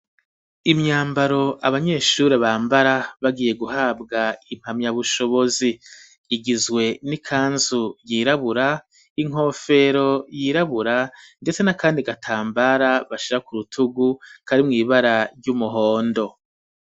Imyambaro abanyeshuri bambara bagiye guhabwa impamya bushobozi, igizwe n'ikanzu yirabura, inkofero yirabura, ndetse n'akandi gatambara bashira ku rutugu karimwo ibara ry'umuhondo.